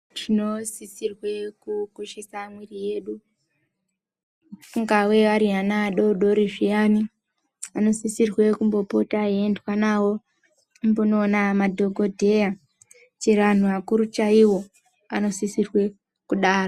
Tinosisirwa kukoshesa mwiri yedu ,ingava vari vana vadoodori zviyani vanosisirwe kumbopota veiendwa navo kumbonoona madhokodheya chero vakuru chaivo vanosisirwe kudaro.